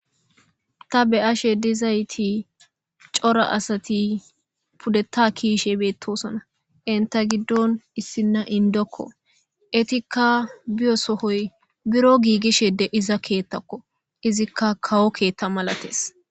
Ta beyashshe dizayitt cora asati pudeththa keyishe bettosona enta gidon isina indokko etikka biyo sohoyi buro gigisishse diza keththakko izikka kawo keththa masates